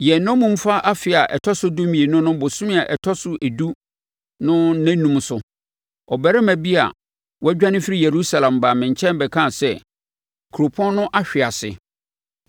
Yɛn nnommumfa afe a ɛtɔ so dumienu no bosome a ɛtɔ so edu no nnannum so, ɔbarima bi a wadwane afiri Yerusalem baa me nkyɛn bɛkaa sɛ, “Kuropɔn no ahwease!”